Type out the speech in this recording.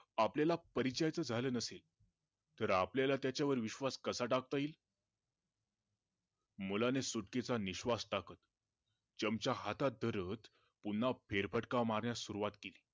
आपल्याला परिचयाच झालं नसेल तर आपल्याला त्याच्यावर विश्वास कसा टाकता येईल? मुलाने सुटकेचा निश्वास टाकत चमचा हातात धरत पुन्हा फेरफटका मारण्यास सुरुवात केली